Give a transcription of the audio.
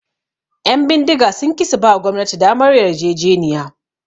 Ƴan bindiga sun ki suba gwamnati damar yarjejeniya